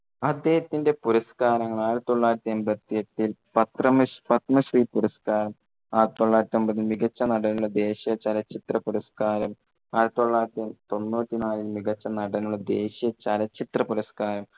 അദ്ദേഹത്തിന്റെ പുരസ്കാരങ്ങൾ ആയിരത്തി തൊള്ളായിരത്തി എൺപത്തി എട്ടിൽ പത്രമിസ് ~ പദ്മശ്രീ പുരസ്കാരം, മികച്ച നടനുള്ള ദേശീയ ചലച്ചിത്ര പുരസ്‌കാരം, ആയിരത്തി തൊള്ളായിരത്തി തൊണ്ണൂറ്റി നാലിൽ മികച്ച നടനുള്ള ദേശീയ ചലച്ചിത്ര പുരസ്‌കാരം.